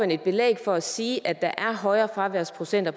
et belæg for at sige at der er højere fraværsprocenter